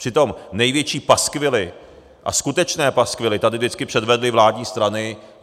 Přitom největší paskvily a skutečné paskvily tady vždycky předvedly vládní strany.